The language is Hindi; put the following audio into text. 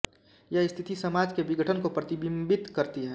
यह स्थिति समाज के विघटन को प्रतिबिंबित करती है